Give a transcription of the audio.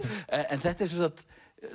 þetta er sem sagt